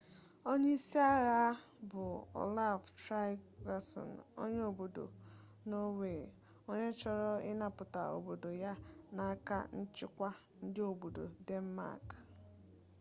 onye isi agha a bụ olaf trygvasson onye obodo nọọwe onye chọrọ ịnapụta obodo ya n'aka nchịkwa ndị obodo denmak